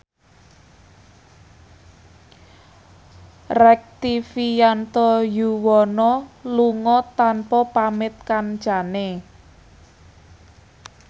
Rektivianto Yoewono lunga tanpa pamit kancane